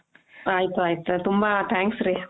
ಆಯಿತು ಆಯಿತು ತುಂಬಾ thanks ರೀ